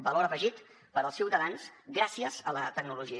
valor afegit per als ciutadans gràcies a la tecnologia